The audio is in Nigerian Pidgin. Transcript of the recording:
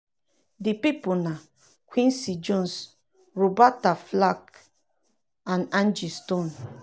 di pipo na um quincy jones roberta flack and angie stone.